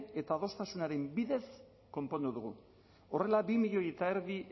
eta adostasunaren bidez konpondu dugu horrela bi milioi eta erdi